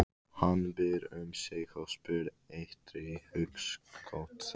Hann býr um sig og spýr eitri í hugskot þess.